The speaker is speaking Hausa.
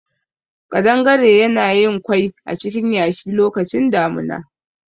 Ƙadangare yana yin kwai acikin yashi lokacin damuna